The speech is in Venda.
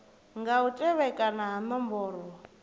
nga u tevhekana ha nomboro